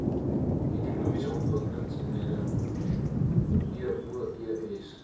ekonomiese ontwikkelingseenhede eoes